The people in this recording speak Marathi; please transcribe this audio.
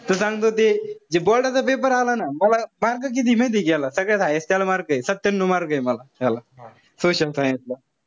त सांगतो ते जे board चा paper आला ना. मला mark किती माहितीये का याला? सगळ्यात highest त्याला mark एत. सत्यान्यू mark ए मला त्याला. social science ला.